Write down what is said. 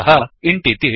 अतः इन्ट्